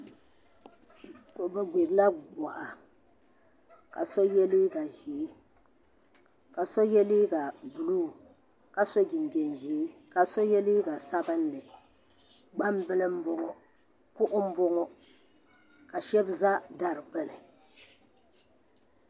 Bi gbirila boɣa ka so yɛ liiga ʒiɛ ka so yɛ liiga buluu ka so jinjɛm ʒiɛ ka so yɛ liiga sabinli gbambili n boŋo kuɣu n boŋo ka shab za dari gbuni